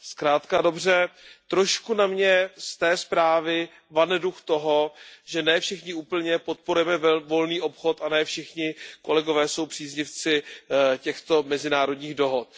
Zkrátka a dobře, trochu na mě z té zprávy vane duch toho, že ne všichni úplně podporujeme volný obchod a ne všichni kolegové jsou příznivci těchto mezinárodních dohod.